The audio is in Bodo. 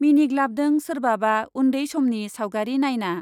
मिनिग्लाबदों सोरबाबा उन्दै समनि सावगारि नायना ।